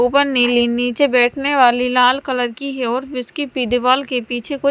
ऊपर नीली निचे बेठने वाली लाल कलर की है और के पीछे कुछ--